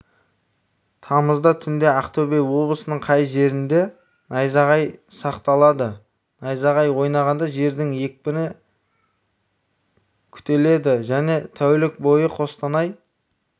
тамызда түнде ақтөбе облысының кей жерлерінде найзағайсақталады найзағай ойнағанда желдің екпіні күтеледі және тәулік бойы қостанай